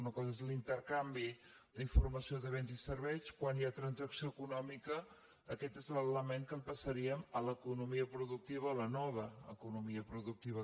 una cosa és l’intercanvi d’informació de béns i serveis quan hi ha transacció econòmica aquest és l’element que el passaríem a l’economia productiva a la nova economia productiva